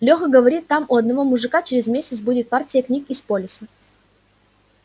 леха говорит там у одного мужика через месяц будет партия книг из полиса